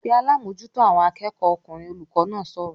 "Pe alábòójútó àwọn akẹ́kọ̀ọ́ ọkùnrin!" Olùkọ́ náà sọ̀rọ̀